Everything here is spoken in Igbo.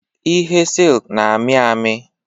Ihe silk na-amị amị